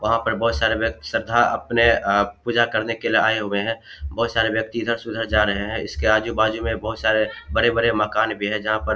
वहां पर बहुत सारे व्यक्ति श्रद्धा अपने आप पूजा करने के लिए आए हुए हैं बहुत सारे व्यक्ति इधर से उधर जा रहे हैं इसके आजु-बाजु में बहुत सारे बड़े-बड़े मकान भी है जहां पर --